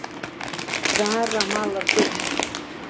Zara malar gull